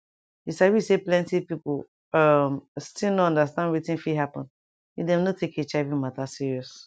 you sabi say plenti people um still no understand wetin fit happen if dem no take hiv matter serious